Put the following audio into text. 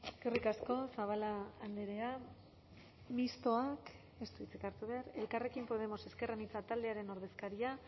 eskerrik asko zabala andrea mistoak ez du hitzik hartu behar elkarrekin podemos ezker anitza taldearen ordezkaria